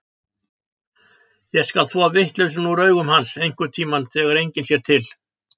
Ég skal þvo vitleysuna úr augum hans, einhverntíma þegar enginn sér til.